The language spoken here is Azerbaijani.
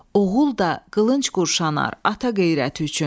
Oğul da qılınc qoruşanar ata qeyrəti üçün.